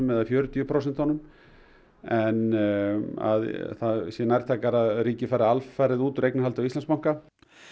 eða fjörutíu prósent en að það sé nærtækara að ríkið fari alfarið út úr eignarhaldinu á Íslandsbanka